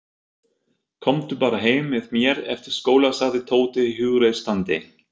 Komdu bara heim með mér eftir skóla sagði Tóti hughreystandi.